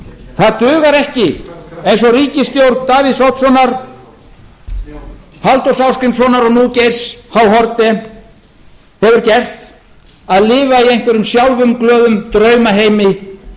það dugar ekki eins og ríkisstjórn davíðs oddssonar halldórs ásgrímssonar og nú geirs h haarde hefur gert að lifa í einhverjum sjálfumglöðum draumaheimi eigin